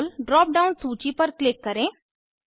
रोले drop down सूची पर click करें